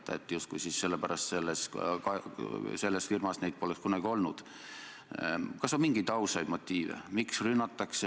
Sa taganesid sellest väärtusest ja õigustasid seda sellega, et sa usud, et niimoodi saab ehitada sidusamat ühiskonda.